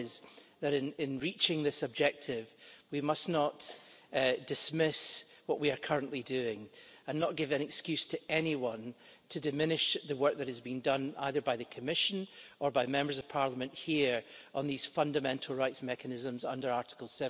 One is that, in reaching this objective, we must not dismiss what we are currently doing, and not give an excuse to anyone to diminish the work that has been done, either by the Commission or by Members of Parliament here on these fundamental rights mechanisms under Article